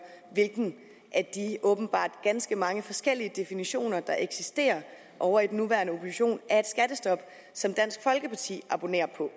hvilken af de åbenbart ganske mange forskellige definitioner der eksisterer ovre i den nuværende opposition som dansk folkeparti abonnerer på